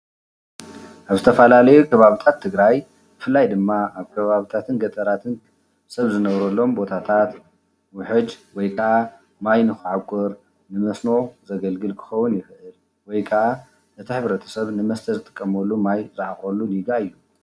አብ ዝተፈላለዩ ከባቢታት ትግራይ ብፍላይ ድማ አብ ከባቢታትን ገጠራትን አፅቢን ዝነብሩሎም ቦታታት ውሕጅ ወይ ከአ ማይ ንከዐቁር ንመስኖ ዘገልግል ክኸውን ይክእል እዩ፡፡ ወይ ከአ እቲ ሕብረተሰብ ንመስተ ዝጥቀም ማይ ዝዓቁረሉ ሪጋ እዩ፡፡